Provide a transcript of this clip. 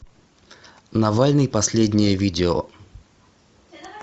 навальный последнее видео